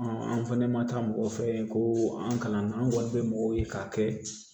an fɛnɛ ma taa mɔgɔ fɛ yen ko an kalan na an kɔni bɛ mɔgɔw ye k'a kɛ